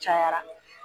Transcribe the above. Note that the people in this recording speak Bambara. Cayara